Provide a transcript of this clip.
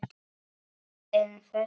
En þetta var dýrið okkar.